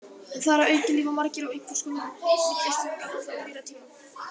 En þar að auki lifa margir á einhvers konar millistigum gamalla og nýrra tíma.